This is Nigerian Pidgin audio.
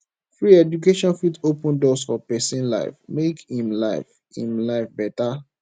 good education fit open doors for pesin life make em life em life beta